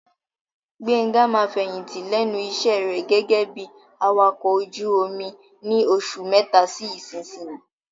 Gbenga máa fẹ̀yìntì lẹ́nu iṣẹ́ rẹ̀ gẹ́gẹ́ bí Awakọ̀ ojú omi ni oṣù mẹ́ta sí ìsinsìnyí.